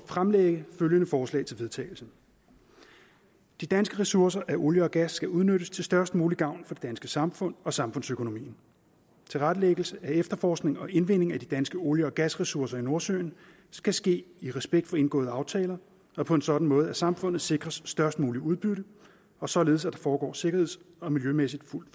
fremsætte følgende forslag til vedtagelse de danske ressourcer af olie og gas skal udnyttes til størst mulig gavn for det danske samfund og samfundsøkonomien tilrettelæggelse af efterforskning og indvinding af de danske olie og gasressourcer i nordsøen skal ske i respekt for indgåede aftaler og på en sådan måde at samfundet sikres størst muligt udbytte og således at det foregår sikkerheds og miljømæssigt fuldt